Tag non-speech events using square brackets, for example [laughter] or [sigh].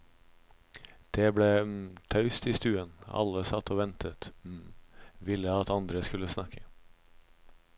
Det ble [hesitation] taust i stuen, alle satt og ventet, [hesitation] ville at andre skulle snakke.